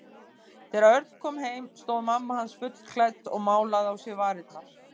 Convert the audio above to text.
Þegar Örn kom heim stóð mamma hans fullklædd og málaði á sér varirnar.